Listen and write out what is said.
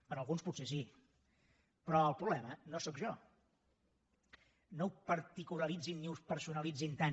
per a alguns potser sí però el problema no sóc jo no ho particularitzin ni ho personalitzin tant